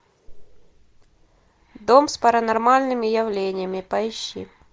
дом с паранормальными явлениями поищи